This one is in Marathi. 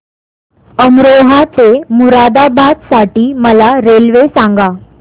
अमरोहा ते मुरादाबाद साठी मला रेल्वे सांगा